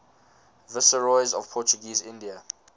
viceroys of portuguese india